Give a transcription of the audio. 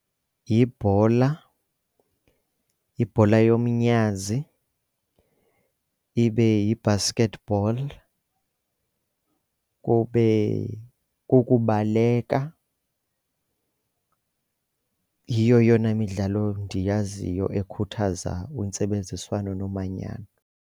Yibhola, yibhola yomnyazi, ibe yi-basketball, kube kukubaleka. Yiyo eyona midlalo ndiyaziyo ekhuthaza intsebenziswano nomanyano.